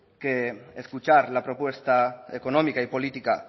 que escuchar la propuesta económica y política